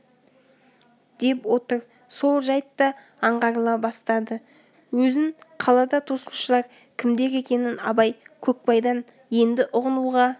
деп отыр сол жайыт да аңғарыла бастады өзін қалада тосушылар кімдер екенін абай көкбайдан енді ұғынуға